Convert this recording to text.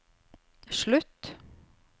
slutt